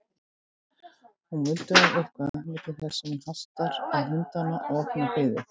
Hún muldrar eitthvað milli þess sem hún hastar á hundana og opnar hliðið.